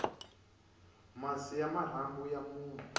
masi ya marhambu ya munhu